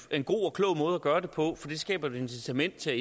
en god og klog måde at gøre det på for det skaber et incitament til